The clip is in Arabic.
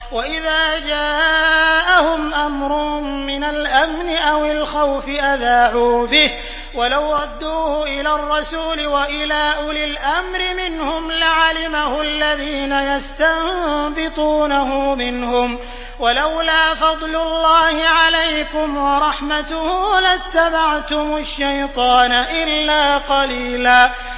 وَإِذَا جَاءَهُمْ أَمْرٌ مِّنَ الْأَمْنِ أَوِ الْخَوْفِ أَذَاعُوا بِهِ ۖ وَلَوْ رَدُّوهُ إِلَى الرَّسُولِ وَإِلَىٰ أُولِي الْأَمْرِ مِنْهُمْ لَعَلِمَهُ الَّذِينَ يَسْتَنبِطُونَهُ مِنْهُمْ ۗ وَلَوْلَا فَضْلُ اللَّهِ عَلَيْكُمْ وَرَحْمَتُهُ لَاتَّبَعْتُمُ الشَّيْطَانَ إِلَّا قَلِيلًا